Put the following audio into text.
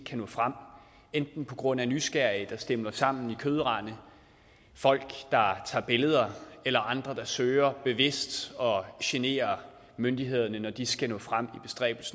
kan nå frem enten på grund af nysgerrige der stimler sammen i kødrande folk der tager billeder eller andre der søger bevidst at genere myndighederne når de skal nå frem